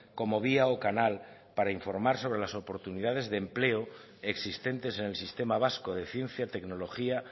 como vía o canal para informar sobre las oportunidades de empleo existentes en el sistema vasco de ciencia tecnología